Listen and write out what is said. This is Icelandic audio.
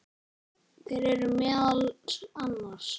Þeir eru meðal annars